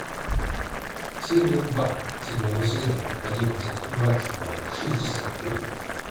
серия два седьмого сезона одиннадцать двадцать два шестьдесят три